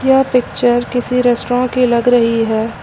यह पिक्चर किसी रेस्टोरेंट की लग रही है।